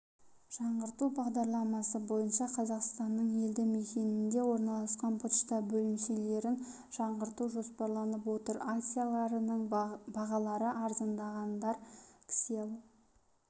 жаңғырту бағдарламасы бойынша қазақстанның елді мекенінде орналасқан пошта бөлімшелерін жаңарту жоспарланып отыр акцияларының бағалары арзандағандар кселл